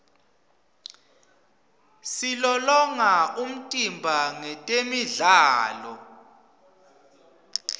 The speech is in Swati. silolonga umtimba ngetemidlalo